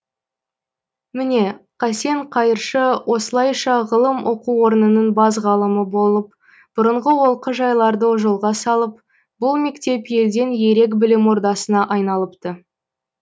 міне қасен қайыршы осылайша ғылым оқу орнының бас ғалымы болып бұрынғы олқы жайларды жолға салып бұл мектеп елден ерек білім ордасына айнплыпты